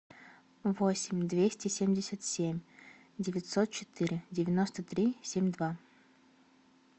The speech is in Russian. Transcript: восемь двести семьдесят семь девятьсот четыре девяносто три семь два